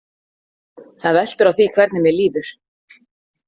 Það veltur á því hvernig mér líður.